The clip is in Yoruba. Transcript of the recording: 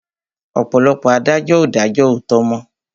Ọ̀pọ̀lọpọ̀ adájọ́ ò dájó òòtó mọ́.